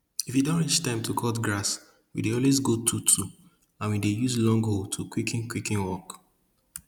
if e don reach time to cut grass we dey always go twotwo and we dey use long hoe to quicken quicken work